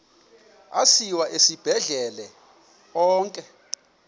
asiwa esibhedlele onke